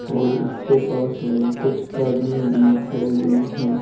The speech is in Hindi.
और इसके पास में कुछ आदमी भी खड़े हुए हैं।